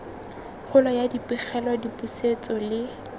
kgolo ya dipegelo dipusetso le